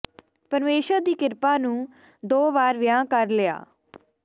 ਪਰਮੇਸ਼ੁਰ ਦੀ ਕਿਰਪਾ ਨੂੰ ਦੋ ਵਾਰ ਵਿਆਹ ਕਰ ਲਿਆ